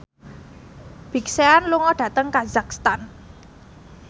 Big Sean lunga dhateng kazakhstan